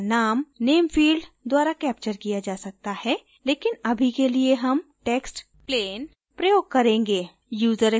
व्यक्ति का name name field द्वारा कैप्चर किया जा सकता है लेकिन अभी के लिए हम text plain प्रयोग करेंगे